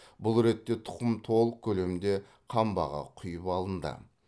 бұл ретте тұқым толық көлемде қамбаға құйып алынды